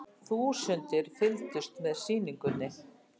Þúsundir fylgdust með sýningunni